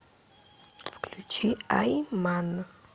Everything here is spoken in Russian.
включи ай ман